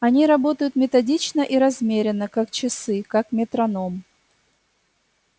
они работают методично и размеренно как часы как метроном